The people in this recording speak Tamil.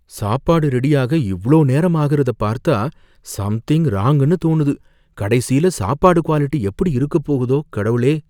சாப்பாடு ரெடியாக இவ்ளோ நேரம் ஆகுறத பார்த்தா சம்திங் ராங்குனு தோணுது. கடைசியில சாப்பாடு குவாலிட்டி எப்படி இருக்கப் போகுதோ, கடவுளே!